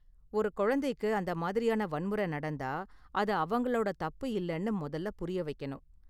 ஒரு குழந்தைக்கு அந்த மாதிரியான வன்முறை நடந்தா, அது அவங்களோட தப்பு இல்லன்னு முதல்ல புரிய வைக்கணும்,